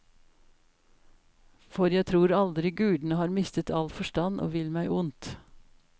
For jeg tror aldri gudene har mistet all forstand og vil meg ondt.